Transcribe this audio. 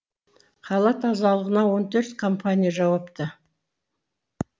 қала тазалығына он төрт компания жауапты